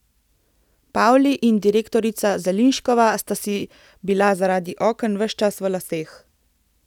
Pavli in doktorica Zeliščnikova sta si bila zaradi oken ves čas v laseh.